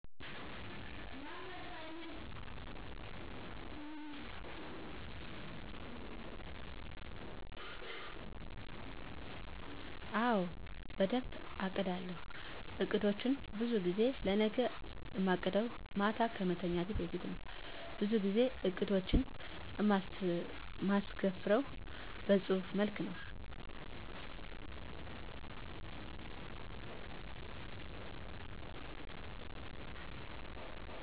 አወ በደንብ አቅዳለው። አቅዶቸን በዙ ጊዜ ለነገ እማቅደው ማታ ከመተኛቴ በፊት ነው በዙ ጊዜ እቅዶቸን እማስፍርው በጹህፍ መልክ ነው።